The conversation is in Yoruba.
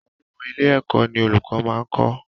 Àwọn ọmọ ilé-ẹ̀kọ́ ní olùkọ́ máa ń kọ.